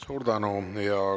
Suur tänu!